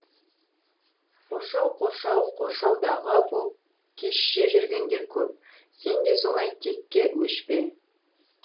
қоршау қоршау қоршаудағы боп кешше жүргендер көп сен де солай текке өшпе